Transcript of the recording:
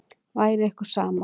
Væri ykkur sama?